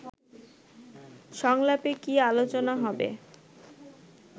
সংলাপে কী আলোচনা হবে